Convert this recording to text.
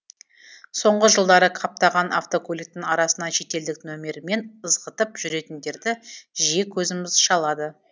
соңғы жылдары қаптаған автокөліктің арасынан шетелдік нөмірмен ызғытып жүретіндерді жиі көзіміз шалады